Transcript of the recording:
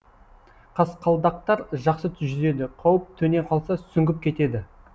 қасқалдақтар жақсы жүзеді қауіп төне қалса сүңгіп кетеді